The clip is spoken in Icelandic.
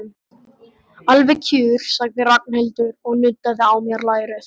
Alveg kjur, sagði Ragnhildur og nuddaði á mér lærið.